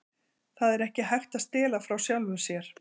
Það er ekki hægt að stela frá sjálfum sér.